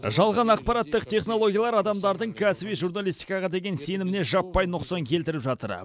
жалған ақпараттық технологиялар адамдардың кәсіби журналистикаға деген сеніміне жаппай нұқсан келтіріп жатыр